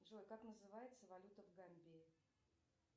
джой как называется валюта в гамбии